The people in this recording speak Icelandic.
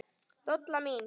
Dolla mín.